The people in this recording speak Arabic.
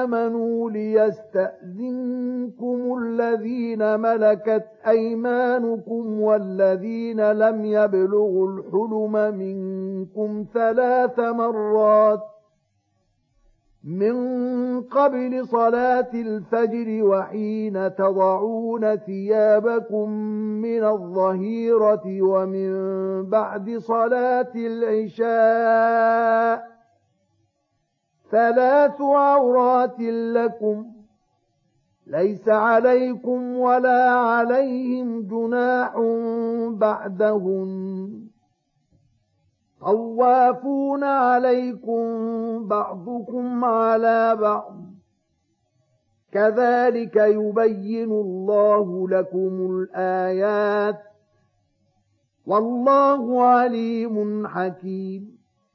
آمَنُوا لِيَسْتَأْذِنكُمُ الَّذِينَ مَلَكَتْ أَيْمَانُكُمْ وَالَّذِينَ لَمْ يَبْلُغُوا الْحُلُمَ مِنكُمْ ثَلَاثَ مَرَّاتٍ ۚ مِّن قَبْلِ صَلَاةِ الْفَجْرِ وَحِينَ تَضَعُونَ ثِيَابَكُم مِّنَ الظَّهِيرَةِ وَمِن بَعْدِ صَلَاةِ الْعِشَاءِ ۚ ثَلَاثُ عَوْرَاتٍ لَّكُمْ ۚ لَيْسَ عَلَيْكُمْ وَلَا عَلَيْهِمْ جُنَاحٌ بَعْدَهُنَّ ۚ طَوَّافُونَ عَلَيْكُم بَعْضُكُمْ عَلَىٰ بَعْضٍ ۚ كَذَٰلِكَ يُبَيِّنُ اللَّهُ لَكُمُ الْآيَاتِ ۗ وَاللَّهُ عَلِيمٌ حَكِيمٌ